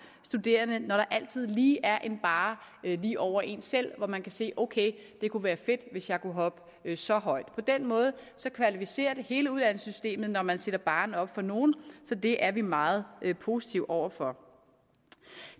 studerende når der altid lige er en barre lige over en selv så man kan sige okay det kunne være fedt hvis jeg kunne hoppe så højt på den måde kvalificerer det hele uddannelsessystemet når man sætter barren op for nogle så det er vi meget positive over for